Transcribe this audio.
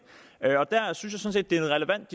og jeg synes det er relevant